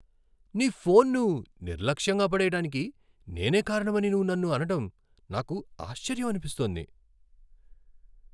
నీ ఫోన్ను నిర్లక్ష్యంగా పడెయ్యడానికి నేనే కారణమని నువ్వు నన్ను అనడం నాకు ఆశ్చర్యం అనిపిస్తోంది.